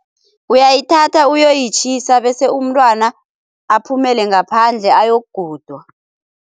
Uyayithatha uyoyitjhisa bese umntwana aphumele ngaphandle ayokugudwa.